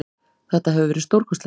Þetta hefur verið stórkostlegt.